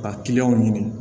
Ka kiliyanw ɲini